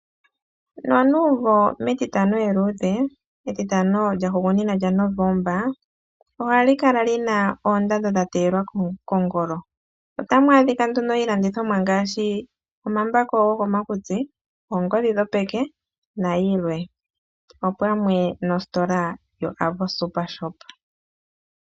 Nonumvo mEtitano eluudhe, Etitano lyahugunina lyaNovomba, ohali kala li na oondando dha teyelwa kongolo. Otamu adhika nduno iilandithomwa ngaashi omambako gokomakutsi, oongodhi dhopeke nayilwe opamwe nositola yoAvo SuperShop.